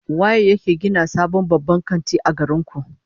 Waye yake gina sabon babban kanti a garin ku?